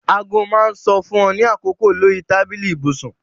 Aago máa ń sọ fún ọ ní àkókò lórí tábìlì ibùsùn